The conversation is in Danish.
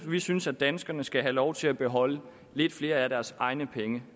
vi synes at danskerne skal have lov til at beholde lidt flere af deres egne penge